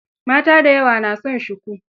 Mata da yawa na son shuku.